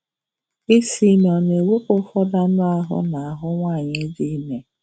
Isi ime ọ̀ na-ewepụ ụfọdụ anụ ahụ́ n’ahụ́ nwanyị dị ime?